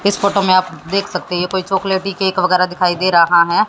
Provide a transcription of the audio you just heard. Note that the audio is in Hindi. इस फोटो में आप देख सकते है ये कोई चॉकलेटी केक वगैरा दिखाई दे रहा है।